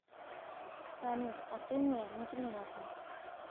салют а ты мне неприятна